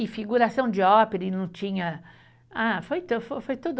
E figuração de ópera e não tinha, ah, foi ta, foi foi tudo